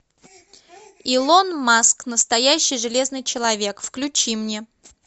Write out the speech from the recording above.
илон маск настоящий железный человек включи мне